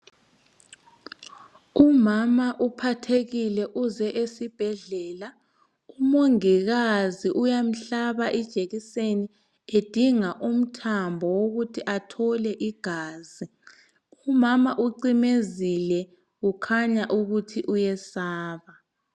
Umama uphathekile uze esibhedlela umongika uyamhlaba ijekiseni edinga umthambo owokuthi athole igazi umama ucimezile ukhanya ukuthi uyesaba.